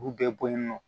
U bɛɛ boɲɔ